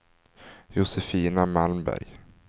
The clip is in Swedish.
Josefina Malmberg